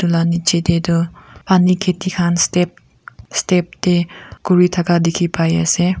la nichi dae toh panu keti khan step step dae kuri taka diki pai asae.